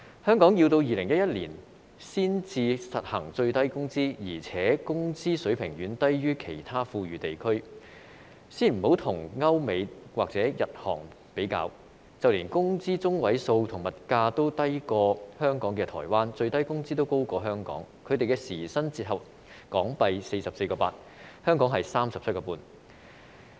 香港要在2011年才實行最低工資，而且工資水平遠低於其他富裕地區，先不與歐美或日韓比較，就連工資中位數和物價均低於香港的台灣，最低工資也高於香港，他們的時薪折合為 44.8 港元，香港是 37.5 元。